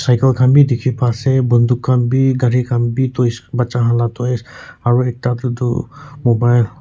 mical kahn bi dikhipa ase bontok khan bi gari khan bi toys bacha khan la toys aro ekta taetu mobile --